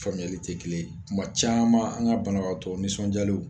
Faamuyali tɛ kelen tuma caman an ka banabagatɔ nisɔndiyalenw